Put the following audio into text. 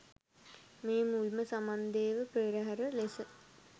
මෙය මුල්ම සමන්දේව පෙරහර ලෙස